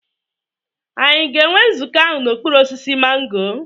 Ànyị a ga-enwe nzukọ ahụ n'okpuru osisi mango?